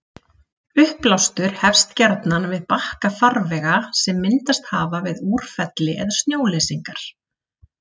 Uppblástur hefst gjarnan við bakka farvega sem myndast hafa við úrfelli eða snjóleysingar.